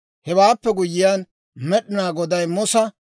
Hewaappe guyyiyaan Med'inaa Goday Musa,